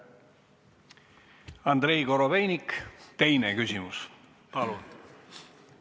Andrei Korobeinik, teine küsimus, palun!